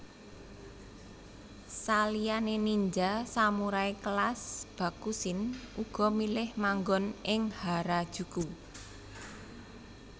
Saliyané ninja samurai kelas Bakushin uga milih manggon ing Harajuku